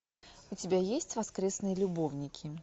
у тебя есть воскресные любовники